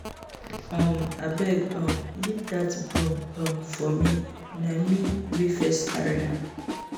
um Abeg um leave dat broom um for me na me wey first carry am